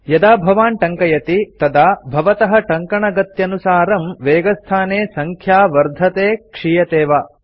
यदा भवान् टङ्कयति तदा भवतः टङ्कणगत्यनुसारं वेगस्थाने सङ्ख्या वर्धते क्षीयते वा